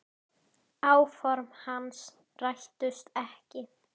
Áform hans rættust ekki.